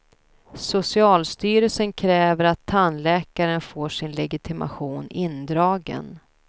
Socialstyrelsen kräver att tandläkaren får sin legitimation indragen.